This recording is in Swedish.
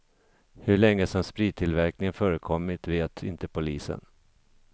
Hur länge som sprittillverkningen förekommit vet inte polisen.